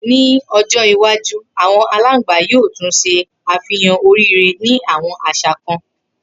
Ni ojo iwaju awọn alangba yoo tun ṣe afihan oríire ni awọn aṣa kan